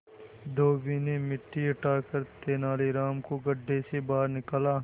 धोबी ने मिट्टी हटाकर तेनालीराम को गड्ढे से बाहर निकाला